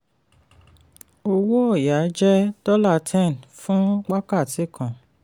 owó oya jẹ́ ten dollar fún wákàtí kan.